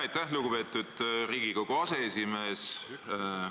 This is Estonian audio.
Aitäh, lugupeetud Riigikogu aseesimees!